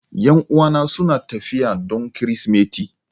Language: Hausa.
Yan'uwana suna tafiya don Kirsimeti.